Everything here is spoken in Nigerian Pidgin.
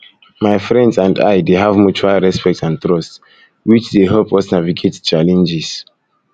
my friends and i dey have mutual respect and trust which dey help dey help us navigate challenges